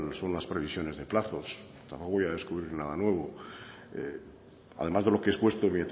cuáles son las previsiones de plazo tampoco voy a descubrir nada nuevo además de lo que expuesto en